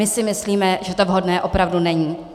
My si myslíme, že to vhodné opravdu není.